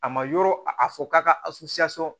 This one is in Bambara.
A ma yɔrɔ a fɔ k'a ka